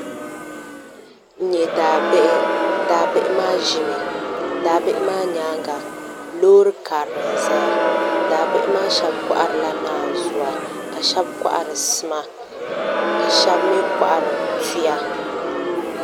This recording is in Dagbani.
N nyɛ daabihi daabihi maa ʒimi daabihi maa nyaanga loori karili n ʒɛya daabihi maa shab koharila naanzuwa ka shab kohari sima ka shab mii kohari tuya